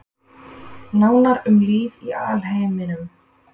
Nánar um líf í alheiminum